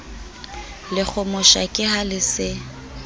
lekgomosha ke ha le se